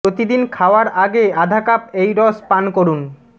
প্রতিদিন খাওয়ার আগে আধা কাপ এই রস পান করুন